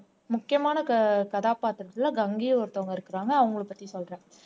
முக்கியமான க கதாபாத்திரத்துல கங்கையும் ஒருத்தவங்க இருக்கிறாங்க அவங்கள பத்தி சொல்றேன்